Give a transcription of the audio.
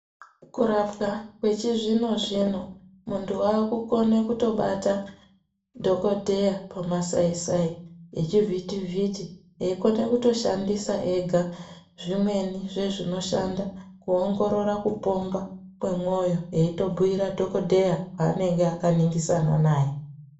Kurapwa kwechizvino-zvino, muntu wakukone kutobata dhokodheya pamasai-sai nechivhiti-vhiti eikona kutoshandisa ega zvimweni zvezvinoshanda kuongorora kupomba kwemwoyo eitobhuira dhokodheya waanenge akaningisana naye.